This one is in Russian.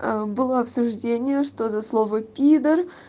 было обсуждение что за слово пидр